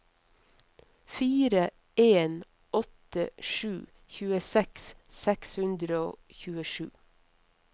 fire en åtte sju tjueseks seks hundre og tjuesju